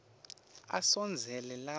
asondzele lapho ngikhona